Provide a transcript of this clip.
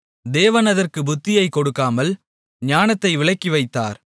தேவன் அதற்குப் புத்தியைக் கொடுக்காமல் ஞானத்தை விலக்கிவைத்தார்